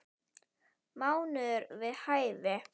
Mánuður við hæfi.